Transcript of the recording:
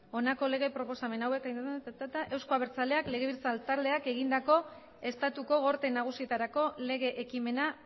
honako lege proposamena hauek euzko abertzaleak legebiltzar taldeak egindako estatuko gorte nagusietarako lege ekimena